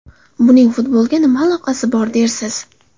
Buning futbolga nima aloqasi bor dersiz?